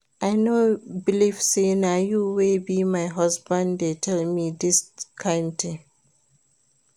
I no believe say na you wey be my husband dey tell me dis kin thing